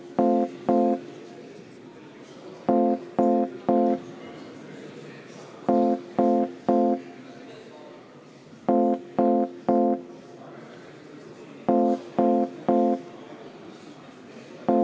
Aga meile on tulnud veel Konservatiivse Rahvaerakonna fraktsiooni ettepanek eelnõu teine lugemine katkestada.